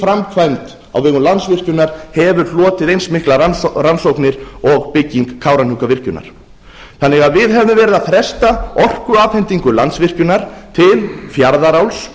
framkvæmd á vegum landsvirkjunar hefur hlotið eins miklar rannsóknir og bygging kárahnjúkavirkjunar við hefðum því verið að fresta orkuafhendingu landsvirkjunar til fjarðaáli